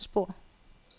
spor